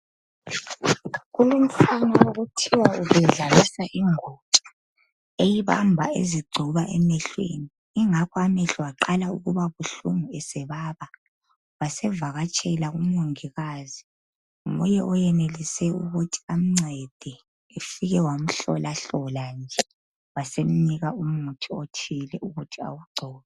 Kulomfana okuthiwa ubedlalisa ingotsha, eyibamba ezigcoba emehlweni. Ingakho amehlo aqala ukuba buhlungu esebaba, wasevakatshela kumongikazi, nguye oyenelise ukuthi amncede, ufike wamhlolahlola nje, wasemnika umuthi othile ukuthi awugcobe